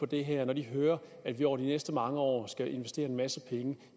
det her kan høre at vi over de næste mange år skal investere en masse penge